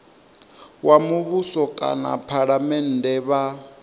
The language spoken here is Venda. wa muvhuso kana phalamennde vha